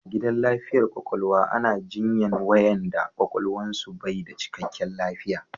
A gidan lafiyar kwakwalwa ana jinyan wayanda kwakwalwan su bai da cikkaken lafiya